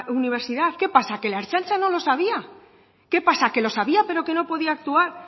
universidad qué pasa que la ertzaintza no lo sabía qué pasa que lo sabía pero que no podía actuar